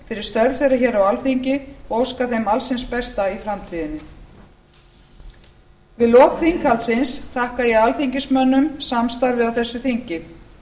fyrir störf þeirra hér á alþingi og óska þeim alls hins besta í framtíðinni við lok þinghaldsins þakka ég alþingismönnum samstarfið á þessu þingi